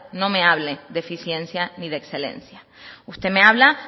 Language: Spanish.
no me hable de eficiencia ni de excelencia usted me habla